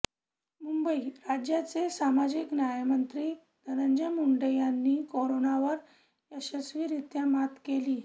मुंबईः राज्याचे सामजिक न्यायमंत्री धनजंय मुंडे यांनी कोरोनावर यशस्वीरित्या मात केली